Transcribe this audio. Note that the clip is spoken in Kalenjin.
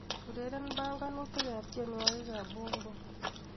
Ureren banganuyik ab tienwokikab Bongo